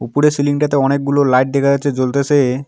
উপরের সিলিং -টাতে অনেকগুলো লাইট দেখা যাচ্ছে জ্বলতেছে।